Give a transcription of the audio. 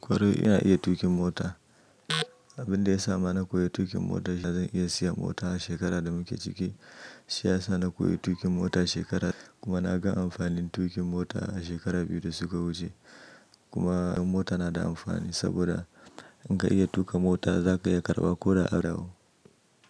Kwarai ina iya tuƙin mota. Abin da ya sa na koyi tuƙin mota, da zan iya siyan mota shekarar da muke ciki. Shi ya sa na koyi tuƙin mota shekarar, kuma na ga amfanin tuƙin mota a shekaru biyu da suka wuce. Kuma mota na da amfani saboda in ka iya tuƙa mota za ka iya karɓa ko da a rawa.